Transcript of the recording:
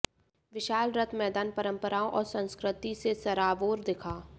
विशाल रथ मैदान परंपराओं और संस्कृति से सराबोर दिखा